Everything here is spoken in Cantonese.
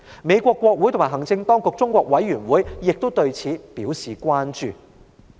美國國會及行政當局中國委員會亦對此表示關注。